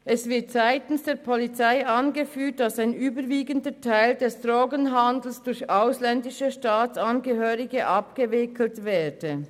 Es wird seitens der Polizei angeführt, dass ein überwiegender Teil des Drogenhandels durch ausländische Staatsangehörige abgewickelt werde.